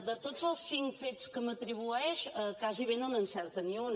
de tots els cinc fets que m’atribueix gairebé no n’encerta ni un